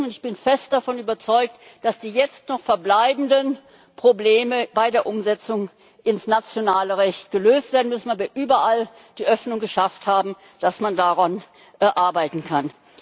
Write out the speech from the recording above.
Ich bin fest davon überzeugt, dass die jetzt noch verbleibenden Probleme bei der Umsetzung ins nationale Recht gelöst werden müssen. Aber wir haben überall die Öffnung geschafft, dass man daran arbeiten